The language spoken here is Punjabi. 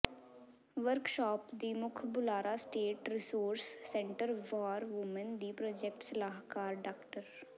ਵਰਕਸ਼ਾਪ ਦੀ ਮੁੱਖ ਬੁਲਾਰਾ state resource centre for women ਦੀ ਪ੍ਰਾਜੈਕਟ ਸਲਾਹਕਾਰ ਡਾ